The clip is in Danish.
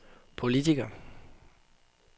politiker